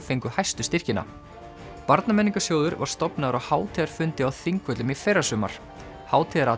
fengu hæstu styrkina var stofnaður á hátíðarfundi á Þingvöllum í fyrrasumar